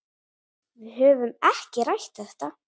Við höfum ekki rætt þetta.